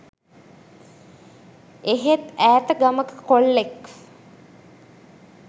එහෙත් ඈත ගමක කොල්ලෙක්